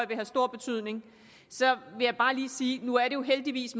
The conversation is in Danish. vil have stor betydning så vil jeg bare lige sige at nu er det jo heldigvis